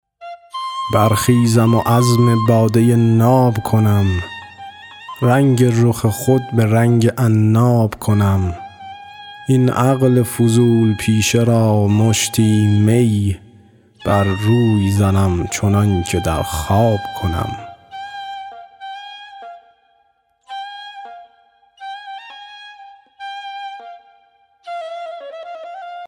برخیزم و عزم باده ناب کنم رنگ رخ خود به رنگ عناب کنم این عقل فضول پیشه را مشتی می بر روی زنم چنان که در خواب کنم